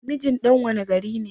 Mijin ɗan wanne gari ne?